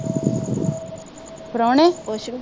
ਪ੍ਰੋਹਣੇ